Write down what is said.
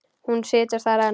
Hún situr þar enn.